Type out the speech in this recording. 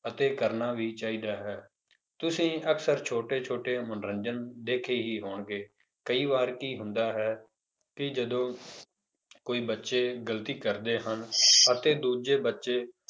ਅਤੇ ਕਰਨਾ ਵੀ ਚਾਹੀਦਾ ਹੈ ਤੁਸੀਂ ਅਕਸਰ ਛੋਟੇ ਛੋਟੇ ਮਨੋਰੰਜਨ ਦੇਖੇ ਹੀ ਹੋਣਗੇ ਕਈ ਵਾਰ ਕੀ ਹੁੰਦਾ ਹੈ ਕਿ ਜਦੋਂ ਕੋਈ ਬੱਚੇ ਗ਼ਲਤੀ ਕਰਦੇ ਹਨ ਅਤੇ ਦੂਜੇ ਬੱਚੇ